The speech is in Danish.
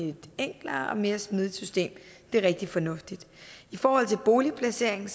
et enklere og mere smidigt system det er rigtig fornuftigt i forhold til boligplaceringen